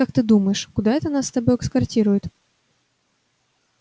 как ты думаешь куда это нас с тобой эскортируют